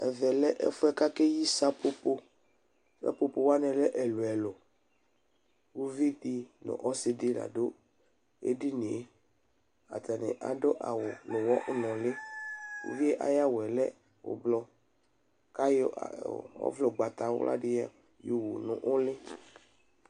Ɛvɛ lɛ ɛfʋ yɛ k'akeyi sapopo Sapopowanɩ lɛ ɛlʋ ɛlʋ k'uvidɩ nʋ ɔsɩdɩ ladʋ ɛdini yɛ Atanɩ adʋ awʋ nʋ ʋwɔ nʋlɩ; uvi yɛ syawʋ yɛ lɛ ʋblʋ k'ayɔ ɔvlɛ ʋgbatawladɩ yowu nʋlɩ